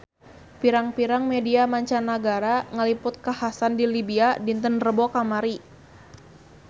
Pirang-pirang media mancanagara ngaliput kakhasan di Libya dinten Rebo kamari